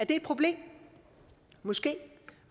et problem måske